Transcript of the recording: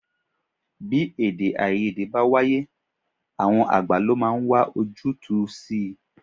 Bí èdè-áiyedé bá wáyé, àwọn àgbà lo máa ń wá ojútùú si.